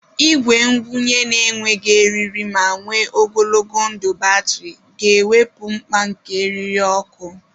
Igwe ngwunye na-enweghị eriri ma nwe ogologo ndụ batrị ga-ewepụ mkpa nke eriri ọkụ.